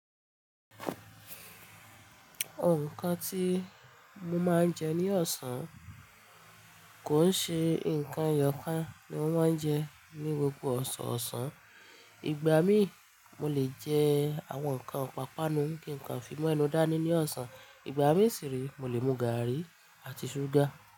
Ǹkan tí mo máa ń jẹ ní ọ̀sán kò ń ṣe ǹkan ẹyọ kan ni mo máa ń jẹ ní gbogbo ọ̀sán ọ̀sán. Ìgbà mí mo lè jẹ àwọn ǹkan ípàápàánù kíǹkan fi mọ́ ẹnu dá ní ní ọ̀sán. Ìgbà mí sì rí, mo lè mú gàárì àti ṣúgà.